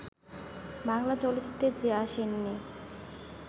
বাংলা চলচ্চিত্রে যে আসেননি